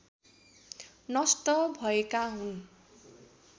नष्ट भएका हुन्